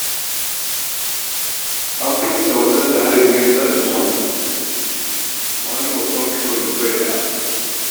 An binne waɗanda harin ya ritsa da su a wani babban kabarin bai-ɗaya.